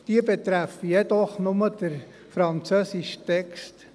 Diese betreffen jedoch nur den französischen Text.